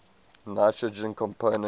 nitrogen compounds